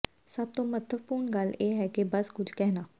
ਸਭ ਤੋਂ ਮਹੱਤਵਪੂਰਣ ਗੱਲ ਇਹ ਹੈ ਬਸ ਕੁਝ ਕਹਿਣਾ